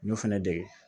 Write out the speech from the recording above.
N y'o fɛnɛ dege